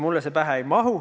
Mulle see pähe ei mahu.